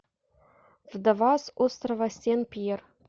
вдова с острова сен пьер